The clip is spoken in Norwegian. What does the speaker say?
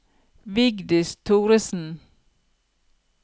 Vigdis Thoresen